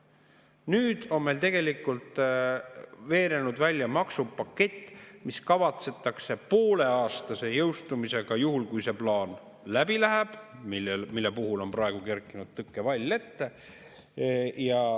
Nüüd on tegelikult veerenud välja maksupakett, mis kavatsetakse poole aastaga jõustada, juhul kui läheb läbi see plaan, millele on praegu kerkinud tõkkevall ette.